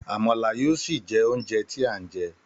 Àmàlà yóò sì jé oúnjẹ tí à ń jẹ.